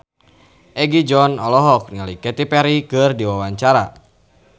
Egi John olohok ningali Katy Perry keur diwawancara